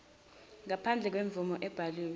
ngaphandle kwemvume ebhaliwe